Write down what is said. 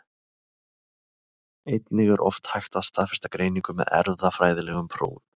Einnig er oft hægt að staðfesta greiningu með erfðafræðilegum prófum.